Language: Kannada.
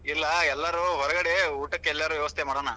ಇಲ್ಲಾ ಎಲ್ಲಾರೂ ಹೊರಗಡೆ ಊಟಕ್ಕ ಎಲ್ಲಾರ ವ್ಯವಸ್ಥೆ ಮಾಡೋಣ.